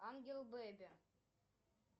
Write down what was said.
ангел бэби